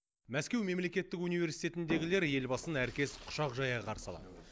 мәскеу мемлекеттік университетіндегілер елбасын әркез құшақ жая қарсы алады